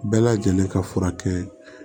Bɛɛ lajɛlen ka furakɛ